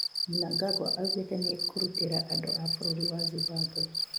Mnangagwa augĩte nĩekũrutira andũ a bũrũri wa Zimbabwe